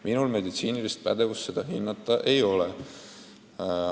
Minul meditsiinilist pädevust seda hinnata ei ole.